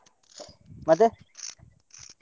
ಮತ್ತೆ.